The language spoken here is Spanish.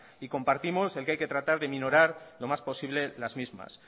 y compartimos el que hay que tratar de aminorar lo más posible las mismas